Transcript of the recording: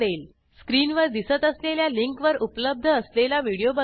स्क्रीनवर दिसत असलेल्या लिंकवर उपलब्ध असलेला व्हिडिओ बघा